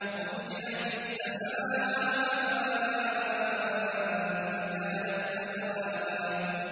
وَفُتِحَتِ السَّمَاءُ فَكَانَتْ أَبْوَابًا